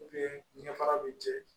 ɲɛ fara bi jɛ